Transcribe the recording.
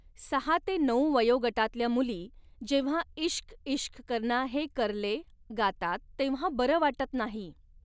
सहा ते नऊ वयोगटातल्या मुली जेव्हा इश्क इश्क करना है करले गातात तेव्हा बरं वाटत नाही.